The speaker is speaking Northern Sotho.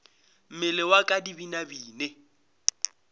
mmele wa ka di binabine